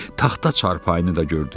Taxta çarpayını da gördü.